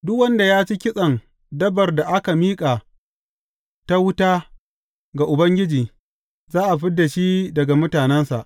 Duk wanda ya ci kitsen dabbar da aka miƙa ta wuta ga Ubangiji, za a fid da shi daga mutanensa.